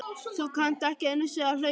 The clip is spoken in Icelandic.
Þú kannt ekki einu sinni að hlaupa